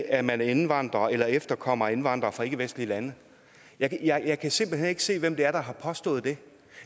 at man er indvandrer eller efterkommer af indvandrere fra ikkevestlige lande jeg kan jeg kan simpelt hen ikke se hvem det er der har påstået det